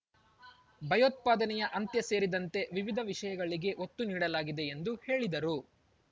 ಭಯೋತ್ಪಾದನೆಯ ಅಂತ್ಯ ಸೇರಿದಂತೆ ವಿವಿಧ ವಿಷಯಗಳಿಗೆ ಒತ್ತು ನೀಡಲಾಗಿದೆ ಎಂದು ಹೇಳಿದರು